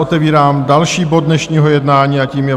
Otevírám další bod dnešního jednání a tím je